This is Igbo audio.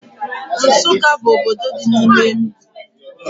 Nsukka bụ obodo dị n'ime Enugwu